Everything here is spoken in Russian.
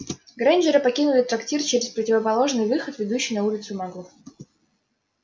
грэйнджеры покинули трактир через противоположный выход ведущий на улицу маглов